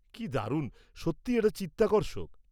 -কি দারুণ! সত্যিই এটা চিত্তাকর্ষক।